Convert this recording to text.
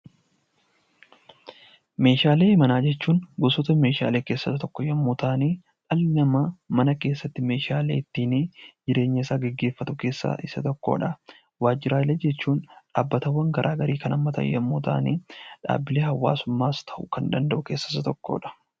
Meeshaalee manaa jechuun gosoota meeshaalee keessaa tokko yeroo ta'an dhali namaa meeshaalee ittiin jireenya isaa gaggeeffatu keessaa isa tokkodha. Waajjiraalee jechuun dhaabbatawwan gara garii kan haammatan yoommùuu ta'an dhaabbilee hawwaasummaas kan ta'uu danda’an keessaa isaan tokkodha.